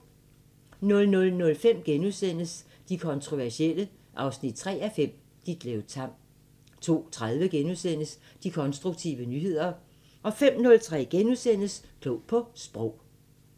00:05: De kontroversielle 3:5 – Ditlev Tamm * 02:30: De konstruktive nyheder * 05:03: Klog på Sprog *